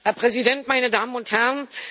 Herr Präsident, meine Damen und Herren!